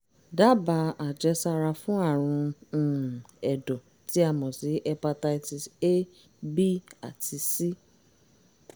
dábàá àjẹsára fún àrùn um ẹ̀dọ̀ tí a mọ̀ sí hepatitis a b àti c